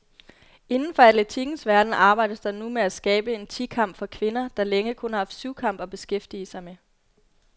Inden for atletikkens verden arbejdes der nu med at skabe en ti kamp for kvinder, der længe kun har haft syvkamp at beskæftige med.